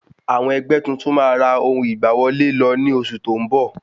Àwọn ẹgbẹ́ tuntun ma ra ohun ìgbà wọlé lọ ní oṣù tó ń bọ̀